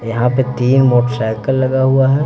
यहां पे तीन मोटरसाइकिल लगा हुआ है।